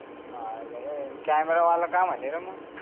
मायाला रे camera वाला काय म्हणे रे मंग